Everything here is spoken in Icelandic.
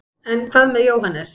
en hvað með jóhannes